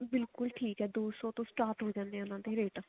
ਬਿਲਕੁਲ ਠੀਕ ਹੈ ਦੋ ਸੋ ਤੋਂ start ਹੋ ਜਾਂਦੇ ਨੇ ਉਹਨਾ ਦੇ ਰੇਟ